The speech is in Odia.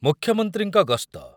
ମୁଖ୍ୟମନ୍ତ୍ରୀଙ୍କ ଗସ୍ତ